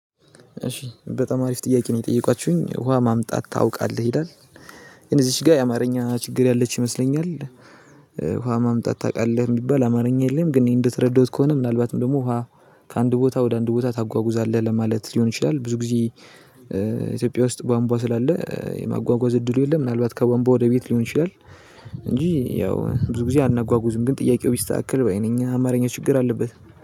እሺ በጣም አሪፍ ጥያቄ ነው የጠየቃችሁኝ ውሃ ማምጣት ታውቃለህ ይላል እዚች ጋ የአማርኛ ችግር ያለች ይመስለኛል። ውሃ ማምጣት ታውቃለህ የሚባል አማርኛ የለም። ግን እኔ እንደተረዳሁት ከሆነ ምናልባትም ደግሞ ውሃ ከአንድ ቦታ ወደ አንድ ቦታ ታጓጉዛለህ ለማለት ሊሆን ይችላል ብዙ ጊዜ። ኢትዮጵያ ውስጥ ቧንቧ ስላለ የማጓጓዝ እድሉ የለም። ምናልባት ከቧንቧ ወደ ቤት ሊሆን ይችላል። እንጂ ያው ብዙ ጊዜ አናጓጉዝም ግን ጥያቄው ቢስተካከል ባይ ነኝ አማርኛ ችግር አለበት